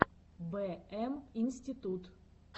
бэ эм институт